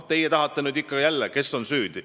Teie tahate nüüd jälle teada, kes on süüdi.